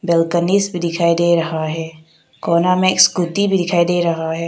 गणेश भी दिखाई दे रहा है। कोना में एक स्कूटी भी दिखाई दे रहा है।